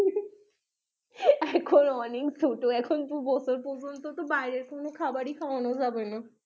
এখন অনেক ছোট এখন দু বছর পর্যন্ত তো বাইরের কোনো খাবারই খাওয়ানো যাবে না